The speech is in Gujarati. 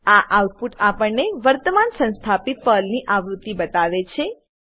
આ આઉટપુટ આપણને વર્તમાન સંસ્થાપિત પર્લની આવૃત્તિ બતાવે છે